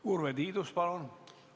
Urve Tiidus, palun!